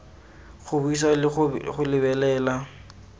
go buisa le go lebelela